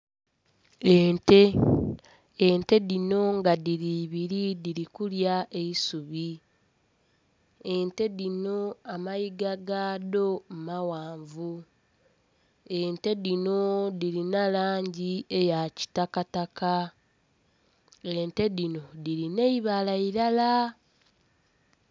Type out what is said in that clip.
Ente, ente dhino nga dhiri ibiri dhiri kulya eisubi, ente dhino amayiga gaado maghanvu, ente dhino dhirina langi eya kitakataka, ente dhino dhirina eibala ilala.